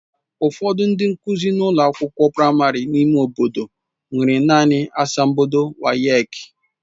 Ụfọdụ ndị nkụzi ụlọ akwụkwọ praịmarị n'ime obodo nwere naanị asambodo WAEki.